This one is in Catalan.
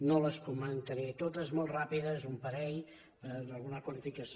no les comentaré totes molt ràpides un parell per alguna qualificació